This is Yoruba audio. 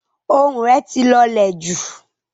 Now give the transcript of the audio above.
Ohùn ẹ̀ ti lọ̀lẹ̀ jù.